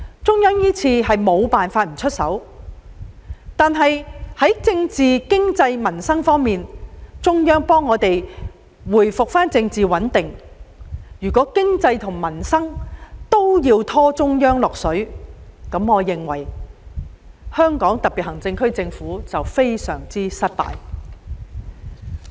中央這次是不得不出手，但在政治、經濟和民生這3方面，中央既已協助我們恢復政治穩定，如在經濟和民生方面也要拖中央下水，香港特別行政區政府便未免太過失敗。